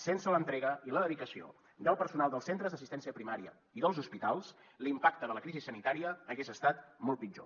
sense l’entrega i la dedicació del personal dels centres d’assistència primària i dels hospitals l’impacte de la crisi sanitària hagués estat molt pitjor